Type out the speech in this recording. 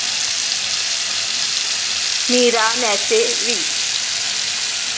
मीरा मॅसे वि